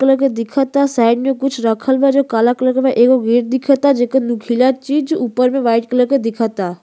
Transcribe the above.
Colour के दिखता। Side मे कुछ रखल बा जो काला कलर के बा। एगो गेट दिखता जेकर नुकीला चीज ऊपर मे व्हाइट कलर के दिखता।